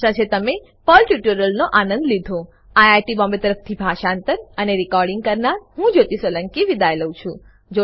આશા છે તમે પર્લ ટ્યુટોરીયલનો આનંદ લીધો આઈઆઈટી બોમ્બે તરફથી હું જ્યોતી સોલંકી વિદાય લઉં છું